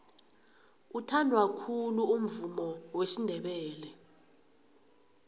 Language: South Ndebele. uthandwa khulu umvumo wesindebele